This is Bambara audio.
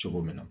Cogo min na